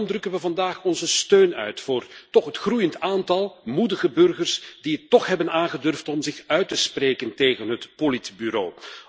Daarom drukken we vandaag onze steun uit voor het groeiend aantal moedige burgers die het toch hebben aangedurfd om zich uit te spreken tegen het politbureau.